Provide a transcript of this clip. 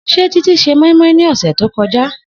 Se Titi se moi -moi ni ose to koja?